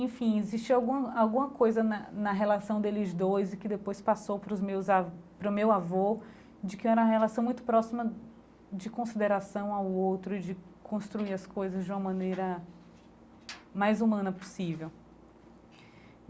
Enfim, existe algum alguma coisa na na relação deles dois e que depois passou para os meus a para o meu avô de que era uma relação muito próxima de consideração ao outro, de construir as coisas de uma maneira mais humana possível.